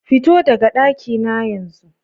Fito daga daki na yanzu!